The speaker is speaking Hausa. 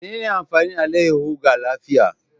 Menene amfanin alayyahu ga lafiya.